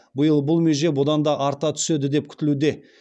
биыл бұл меже бұдан да арта түседі деп күтілуде